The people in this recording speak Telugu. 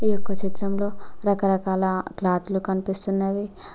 ఈ యొక్క చిత్రంలో రకరకాల క్లాత్లు కనిపిస్తున్నవి.